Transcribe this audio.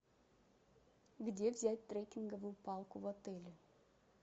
где взять трекинговую палку в отеле